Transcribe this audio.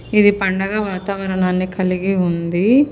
ఇది పండగ వాతావరనాని కలిగి ఉంది.